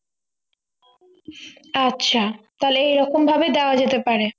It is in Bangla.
আচ্ছা তাহলে এরকম ভাবেই দেওয়া যেতে পারে